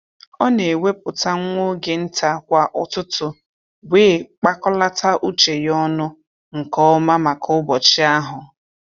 Ọ na-ewepụta nwa oge nta kwa ụtụtụ wee kpakọlata uche ya ọnụ nke ọma maka ụbọchị ahụ